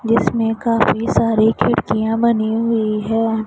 जिसमें काफी सारे खिड़कियां बनी हुई है।